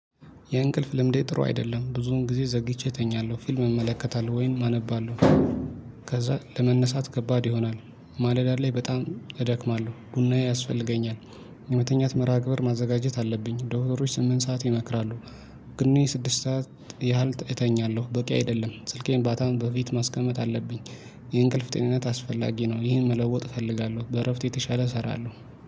የእንቅልፍ ልምዴ ጥሩ አይደለም ብዙውን ጊዜ ዘግይቼ እተኛለሁ ፊልም እመለከታለሁ ወይም አነባለሁ። ከዛ ለመነሳት ከባድ ይሆናል ማለዳ ላይ በጣም እደክማለሁ ቡናዬ ያስፈልገኛል። የመተኛት መርሃ ግብር ማዘጋጀት አለብኝ ዶሮዎች ስምንት ሰዓት ይመክራሉ። ግን እኔ ስድስት ሰዓት ያህል እተኛለሁ በቂ አይደለም ስልኬን ባታም በፊት ማስቀመጥ አለብኝ። ይህ እንቅልፍ ጤንነት አስፈላጊ ነው። ይህን መለወጥ እፈልጋለሁ በእረፍት የተሻለ እሰራለሁ።